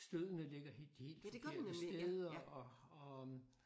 Støddene ligger helt helt forkerte steder og og